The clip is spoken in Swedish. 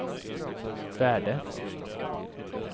värde